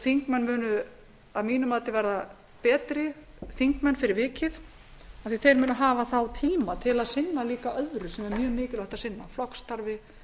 þingmenn munu að mínu mati verða betri þingmenn fyrir vikið af því að þeir munu þá hafa tíma til að sinna öðru sem er mjög mikilvægt að sinna flokksstarfi